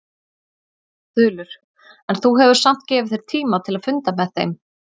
Þulur: En þú hefur samt gefið þér tíma til að funda með þeim?